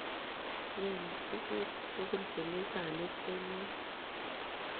Nyei njuguk tugul chemi sanit eng yo.